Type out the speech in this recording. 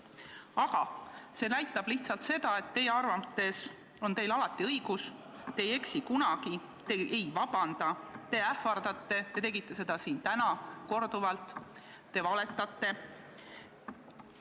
See näitab lihtsalt seda, et teie arvates on teil alati õigus, te ei eksi kunagi, te ei vabanda, te ähvardate , te valetate.